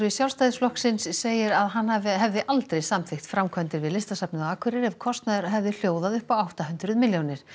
Sjálfstæðisflokks segir að hann hefði aldrei samþykkt framkvæmdir við Listasafnið á Akureyri ef kostnaður hefði hljóðað upp á átta hundruð milljónir